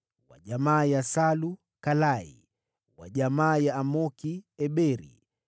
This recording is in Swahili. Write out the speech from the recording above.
wa jamaa ya Salu, Kalai; wa jamaa ya Amoki, Eberi;